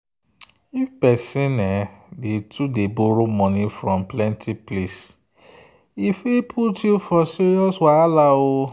if person dey too borrow money from plenty place e fit put you for serious wahala.